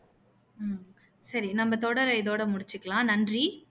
நம்ம தொடரை இதோட முடிச்சுக்கலாம் நன்றி